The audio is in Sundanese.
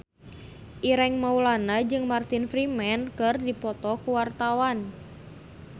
Ireng Maulana jeung Martin Freeman keur dipoto ku wartawan